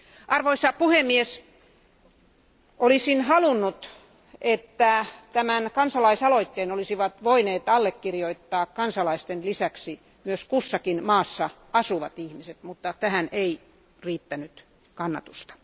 Arvoisa puhemies, olisin halunnut, että tämän kansalaisaloitteen olisivat voineet allekirjoittaa kansalaisten lisäksi myös kussakin maassa asuvat ihmiset, mutta tähän ei riittänyt kannatusta.